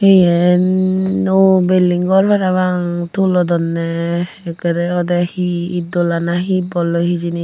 iyen nuo belling gor parapang tulodonney ekkerey odey hi iddola nahi bolloi hijeni.